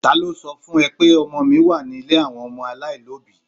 Ta ló sọ fún ẹ pé ọmọ mi wà nílé àwọn ọmọ aláìlóbìí?